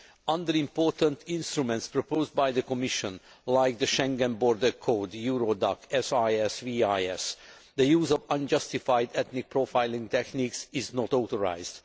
Under important instruments proposed by the Commission like the Schengen Border Code, Eurodac, SIS, VIS the use of unjustified ethnic profiling techniques is not authorised.